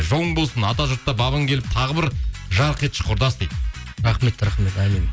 жолың болсын атажұртта бабың келіп тағы бір жарқ етші құрдас дейді рахмет рахмет әумин